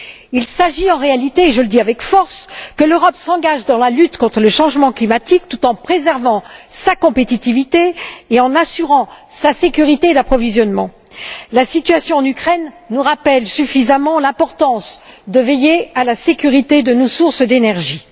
Il s'agit en réalité et je le dis avec force que l'Europe s'engage dans la lutte contre le changement climatique tout en préservant sa compétitivité et en assurant sa sécurité d'approvisionnement. La situation en Ukraine nous rappelle suffisamment l'importance de veiller à la sécurité de nos sources d'énergie.